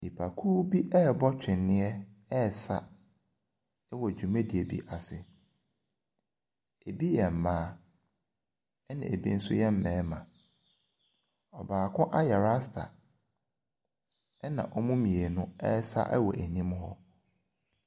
Nnipakuo bi ɛrebɔ tweneɛ, ɛresa wɔ dwumadie bi ase, bi yɛ mmaa na bi nso yɛ mmarima. Ɔbaako ayɛ rasta na wɔn mu mmienu ɛresa wɔ anim hɔ.